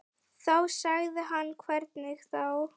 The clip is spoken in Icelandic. Þá sagði hann hvernig þá.